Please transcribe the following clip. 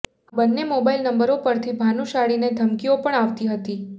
આ બંને મોબાઈલ નંબરો પરથી ભાનુશાળીને ધમકીઓ પણ આવતી હતી